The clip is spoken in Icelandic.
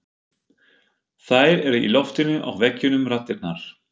Þær eru í loftinu og veggjunum raddirnar.